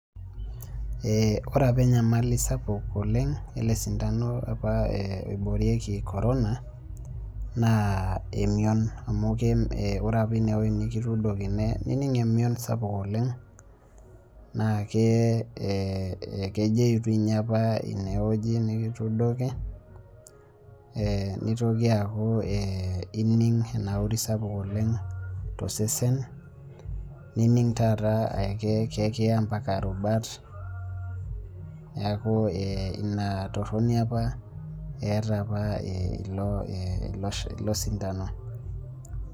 Ore apa enyamali sapuk oleng' ele sindano apa oboirieki Corona naa emion amu ore apa ineweji nikitudokii naa ining' imion sapuk oleng' naa kejeyu dii ninye apa ineweji nikitudoki nitokii akuu ining' enauri sapuk oleng' tosesen nining' taataa ikaya ampaka rubat neeku ina toroni apa etaa ilo sindano.